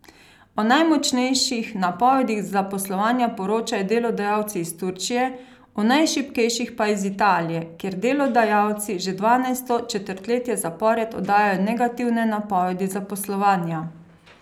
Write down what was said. O najmočnejših napovedih zaposlovanja poročajo delodajalci iz Turčije, o najšibkejših pa iz Italije, kjer delodajalci že dvanajsto četrtletje zapored oddajajo negativne napovedi zaposlovanja.